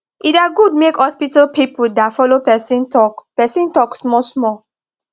e da good make hospital pipu da follo persin talk persin talk small small